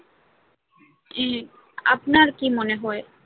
হ্যাঁ আপনার কি মনে হয়?